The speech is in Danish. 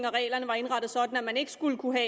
og reglerne var indrettet sådan at man ikke skulle kunne